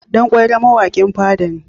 Dan ƙwairo mawaƙin fada ne.